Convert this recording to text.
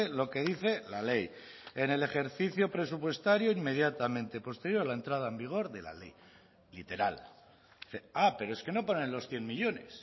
lo que dice la ley en el ejercicio presupuestario inmediatamente posterior a la entrada en vigor de la ley literal ah pero es que no ponen los cien millónes